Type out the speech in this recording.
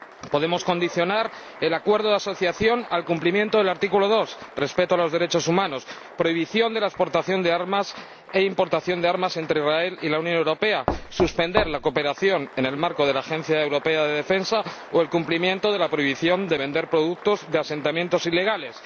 Podemos condicionar el acuerdo de asociación al cumplimiento del artículo 2 respeto de los derechos humanos, prohibición de la exportación de armas e importación de armas entre Israel y la Unión Europea, suspender la cooperación en el marco de la Agencia Europea de Defensa o cumplir la prohibición de vender productos de asentamientos ilegales.